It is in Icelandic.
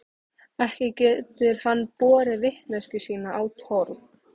Ekki getur hann borið vitneskju sína á torg.